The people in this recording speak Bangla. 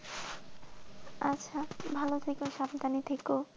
আচ্ছা ভালো থাকো, সাবধানে থেকো।